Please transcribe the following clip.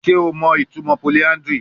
Ṣe o mọ itumọ polyandry?